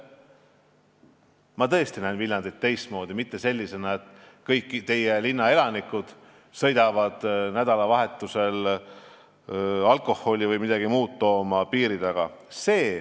Ma tõesti näen Viljandit teistmoodi, mitte sellisena, et kõik teie linna elanikud sõidavad nädalavahetusel piiri taha alkoholi või midagi muud tooma.